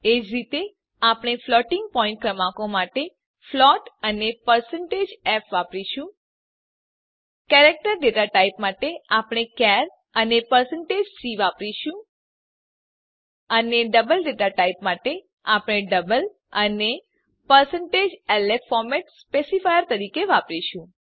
એજ રીતે આપણે floating point ક્રમાંકો માટે ફ્લોટ અને f વાપરીશું કેરેક્ટર ડેટા ટાઇપ માટે આપણે ચાર અને c વાપરીશું અને ડબલ ડેટા ટાઇપ માટે આપણે ડબલ અને lf ફોર્મેટ સ્પેસીફાયર તરીકે વાપરીશું